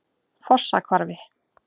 Fossahvarfi